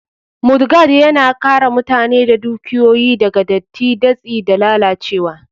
Mudguard, Yana kare mutane da dukiyoyi daga datti, datsi, da lalacewa.